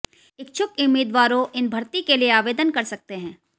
इच्छुक उम्मीदवारों इन भर्ती के लिए आवेदन कर सकते हैं